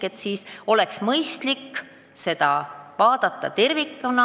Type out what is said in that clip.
Aga teemat oleks mõistlik vaadata tervikuna.